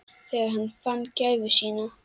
Þegar hann fann gæfu sína.